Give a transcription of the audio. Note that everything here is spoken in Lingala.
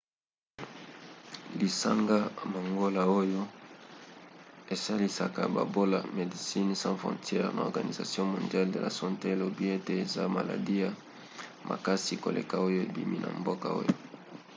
lisanga mangola oyo esalisaka babola medecines sans frontieres na organisation mondiale de la sante elobi ete eza maladi ya makasi koleka oyo ebimi na mboka oyo